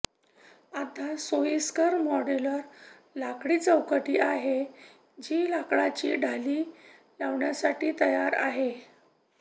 आता सोयिस्कर मॉड्यूलर लाकडी चौकटी आहे जी लाकडाची ढाली लावण्यासाठी तयार आहे